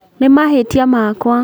Nĩ mahĩtia makwa